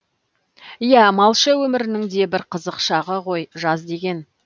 иә малшы өмірінің де бір қызық шағы ғой жаз деген